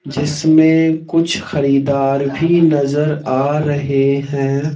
जिसमें कुछ खरीदार भी नजर आ रहे हैं।